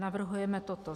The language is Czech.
Navrhujeme toto: